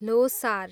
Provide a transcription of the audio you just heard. Losar